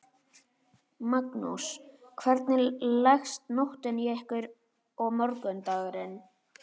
Magnús: Hvernig leggst nóttin í ykkur og morgundagurinn?